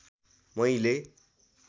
मैले